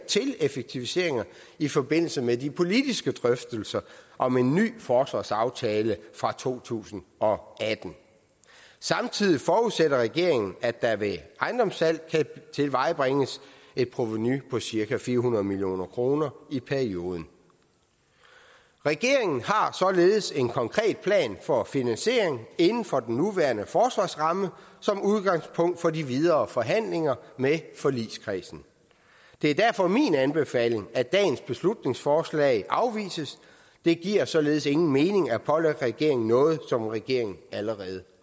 til effektiviseringer i forbindelse med de politiske drøftelser om en ny forsvarsaftale fra to tusind og atten samtidig forudsætter regeringen at der ved ejendomssalg kan tilvejebringes et provenu på cirka fire hundrede million kroner i perioden regeringen har således en konkret plan for finansieringen inden for den nuværende forsvarsramme som udgangspunkt for de videre forhandlinger med forligskredsen det er derfor min anbefaling at dagens beslutningsforslag afvises det giver således ingen mening at pålægge regeringen noget som regeringen allerede